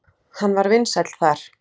Hann var vinsæll þar.